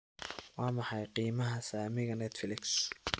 waa maxay qiimaha saamiga netflix